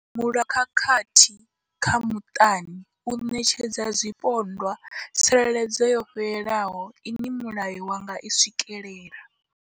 Mulayo wa khakhathi dza muṱani u ṋetshedza zwipondwa tsireledzo yo fhelelaho ine mulayo wa nga i swikela.